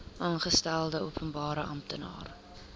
aangestelde openbare amptenaar